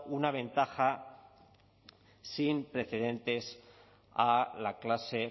una ventaja sin precedentes a la clase